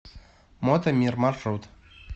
мото мир маршрут